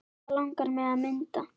Hvað langar þig að mynda?